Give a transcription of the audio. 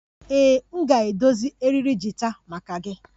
Ee, m ga-edozi eriri gita maka gị